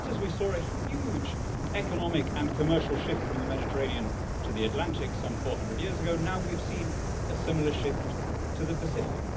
Just as we saw a huge economic and commercial shift from the Mediterranean to the Atlantic some 400 years ago, now we have seen a similar shift to the Pacific.